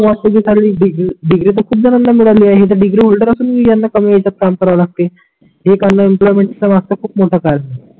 Degree तर खूप जणांना मिळाली आहे हे तर डिग्री ओल्डर असून ही यांना कमी याच्या काम करा लागते. हे कारण एम्प्लॉयमेंटच्या मागच खूप मोठा काळजी आहे